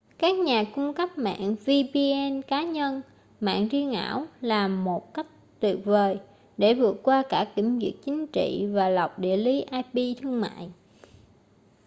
các nhà cung cấp mạng vpn cá nhân mạng riêng ảo là một cách tuyệt vời để vượt qua cả kiểm duyệt chính trị và lọc địa lý ip thương mại